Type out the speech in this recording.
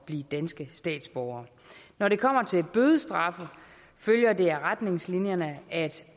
blive danske statsborgere når det kommer til bødestraffe følger det af retningslinjerne at